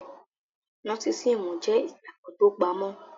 Nósísíìmù jẹ́ ìgbàgbọ́ tó pamọ́,